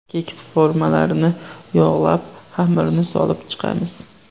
Keks formalarini yog‘lab, xamirni solib chiqamiz.